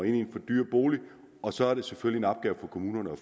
i en for dyr bolig og så er det selvfølgelig en opgave for kommunerne at